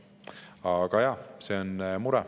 Aga jah, see on mure.